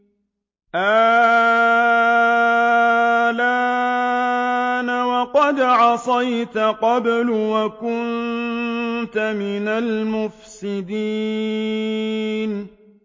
آلْآنَ وَقَدْ عَصَيْتَ قَبْلُ وَكُنتَ مِنَ الْمُفْسِدِينَ